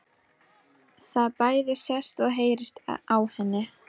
Það bæði sést og heyrist á henni.